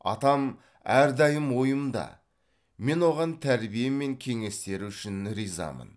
атам әрдайым ойымда мен оған тәрбие мен кеңестері үшін ризамын